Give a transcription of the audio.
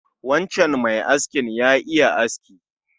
Wancan mai askin ya iya aski